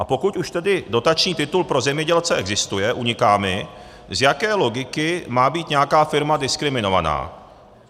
A pokud už tedy dotační titul pro zemědělce existuje, uniká mi, z jaké logiky má být nějaká firma diskriminována.